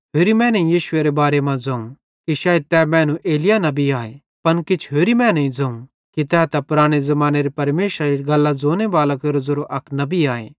होरेईं मैनेईं यीशुएरे बारे मां ज़ोवं कि शायद तै मैनू एलिय्याह नबी आए पन किछ होरेईं मैनेईं ज़ोवं कि तै त पराने ज़मानेरे परमेशरेरी गल्लां ज़ोनेबालां केरो ज़ेरो अक नबी आए